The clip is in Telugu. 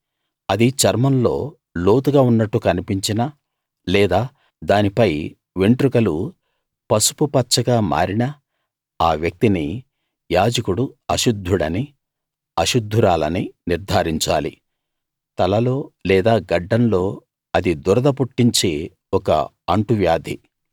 అది చర్మంలో లోతుగా ఉన్నట్టు కన్పించినా లేదా దానిపై వెంట్రుకలు పసుపు పచ్చగా మారినా ఆ వ్యక్తిని యాజకుడు అశుద్ధుడనీ అశుద్ధురాలనీ నిర్థారించాలి తలలో లేదా గడ్డంలో అది దురద పుట్టించే ఒక అంటువ్యాది